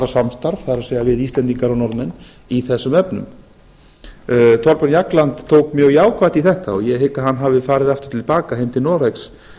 samstarf það er við íslendingar og norðmenn í þessum efnum thorbjörn jagland tók mjög jákvætt í þetta og ég hygg að hann hafi farið aftur til baka heim til noregs